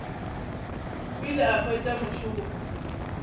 o ile a hwetša mošomo